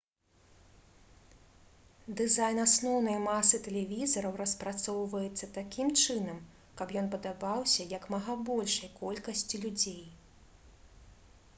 дызайн асноўнай масы тэлевізараў распрацоўваецца такім чынам каб ён падабаўся як мага большай колькасці людзей